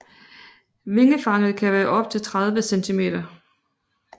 Vingefanget kan være op til 30 cm